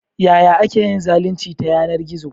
Ya ake yin zalunci ta yanar gizo?